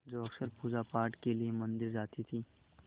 जो अक्सर पूजापाठ के लिए मंदिर जाती थीं